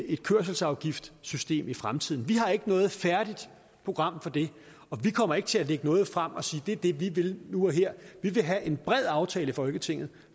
et kørselsafgiftssystem i fremtiden vi har ikke noget færdigt program for det og vi kommer ikke til at lægge noget frem og sige at det er det vi vil nu og her vi vil have en bred aftale i folketinget